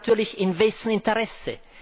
Da fragt man natürlich In wessen Interesse?